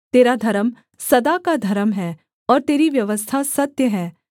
तेरा धर्म सदा का धर्म है और तेरी व्यवस्था सत्य है